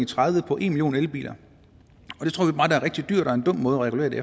tredive på en million elbiler og rigtig dyrt og en dum måde at regulere det